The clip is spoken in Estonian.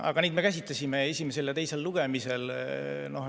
Aga neid me käsitlesime esimesel ja teisel lugemisel.